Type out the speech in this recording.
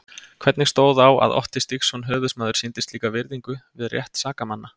Hvernig stóð á að Otti Stígsson höfuðsmaður sýndi slíka virðingu við rétt sakamanna?